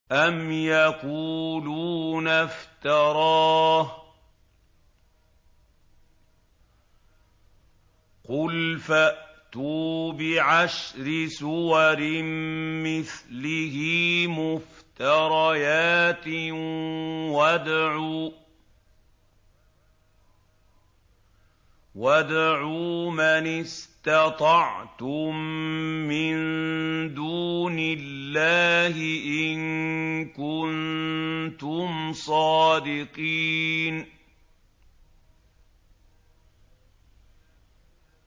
أَمْ يَقُولُونَ افْتَرَاهُ ۖ قُلْ فَأْتُوا بِعَشْرِ سُوَرٍ مِّثْلِهِ مُفْتَرَيَاتٍ وَادْعُوا مَنِ اسْتَطَعْتُم مِّن دُونِ اللَّهِ إِن كُنتُمْ صَادِقِينَ